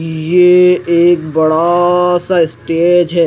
ये एक बड़ा सा स्टेज है।